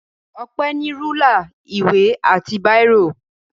Ọpẹ́ ní rúlà, ìwé àti bírò.